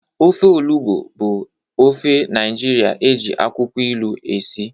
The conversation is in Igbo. Ofe Olugbu bụ ofe Naijiria eji akwụkwọ ilu esi.